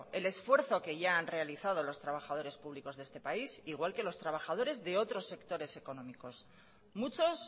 el esfuerzo que ya han realizado los trabajadores públicos de este país igual que los trabajadores de otros sectores económicos muchos